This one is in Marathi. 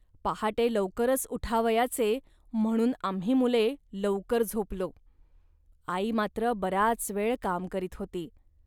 पहाटे लवकरच उठावयाचे, म्हणून आम्ही मुले लौकर झोपलो. आई मात्र बराच वेळ काम करीत होती